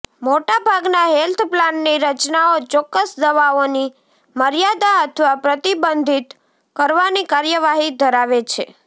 મોટાભાગના હેલ્થ પ્લાનની રચનાઓ ચોક્કસ દવાઓની મર્યાદા અથવા પ્રતિબંધિત કરવાની કાર્યવાહી ધરાવે છે